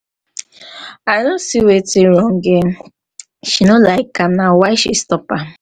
i no see wetin wrong here. she no like am na why she na why she stop am.